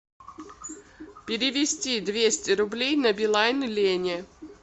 перевести двести рублей на билайн лене